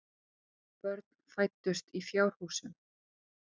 Börn fæddust í fjárhúsum.